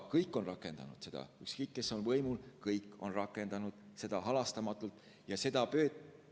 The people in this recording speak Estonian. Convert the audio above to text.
Kõik on seda rakendanud, ükskõik, kes on võimul olnud, kõik on seda halastamatult rakendanud.